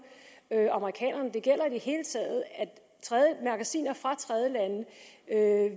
amerikanerne det gælder i det hele taget at magasiner fra tredjelande